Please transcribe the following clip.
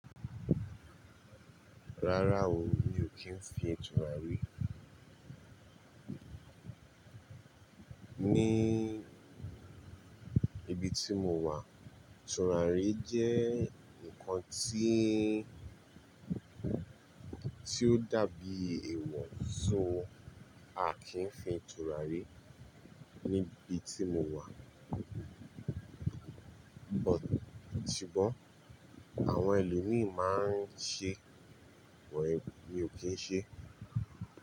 Rárá o, mi ò kí ń fi tura rí. Ní ibi tí mo wà, turarí jẹ́ ǹkan tí, tí ó dàbí èèwọ̀, so a kìí fin tura rí níbi tí mo wà. Sugbọ̀n àwọn ẹlòmíì máa ń ṣe, but, mi ò kí ń ṣe.